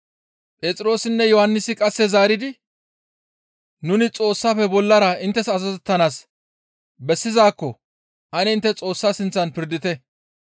Phexroosinne Yohannisi qasse zaaridi, «Nuni Xoossafe bollara inttes azazettanaas bessizaakko ane intte Xoossa sinththan pirdite.